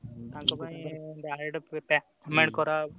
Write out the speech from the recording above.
direct payment କରାହବ।